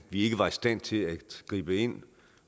vi ikke var i stand til at gribe ind